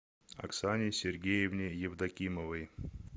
оксане сергеевне евдокимовой